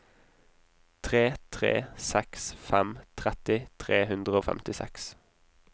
tre tre seks fem tretti tre hundre og femtiseks